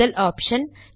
முதல் ஆப்ஷன்